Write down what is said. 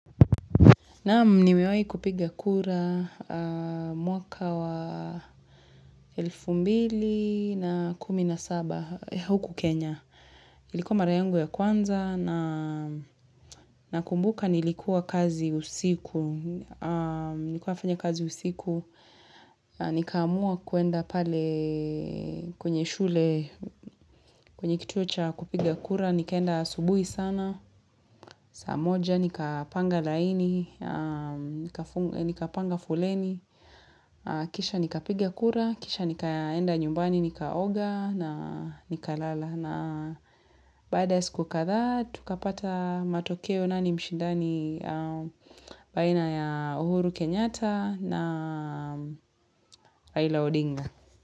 Naam nimiwai kupiga kura mwaka wa elfu mbili na kumi na saba huku Kenya. Ilikuwa mara yangu ya kwanza nakumbuka nilikuwa kazi usiku. Nikuwa nafanya kazi usiku. Nikaamua kuenda pale kwenye shule kwenye kituo cha kupiga kura. Nikaenda asubuhi sana saa moja nikapanga laini nikapanga foleni kisha nikapiga kura kisha nikaenda nyumbani nikaoga na nikalala na baada ya siku kadhaa tukapata matokeo nani mshindani baina ya uhuru Kenyata na Raila Odinga.